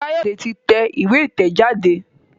Kayode tí tẹ̀ ìwé itẹjade.